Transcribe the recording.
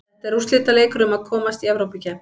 Þetta er úrslitaleikur um að komast Evrópukeppni.